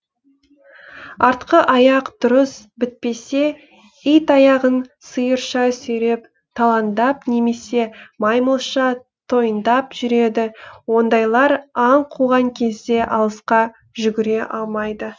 артқы аяқ дұрыс бітпесе ит аяғын сиырша сүйреп талаңдап немесе маймылша тойыңдап жүреді ондайлар аң қуған кезде алысқа жүгіре алмайды